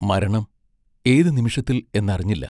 മരണം ഏതു നിമിഷത്തിൽ എന്നറിഞ്ഞില്ല.